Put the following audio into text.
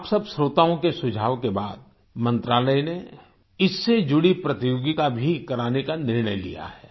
आप सब श्रोताओं के सुझाव के बाद मंत्रालय ने इससे जुड़ी प्रतियोगिता भी कराने का निर्णय लिया गया है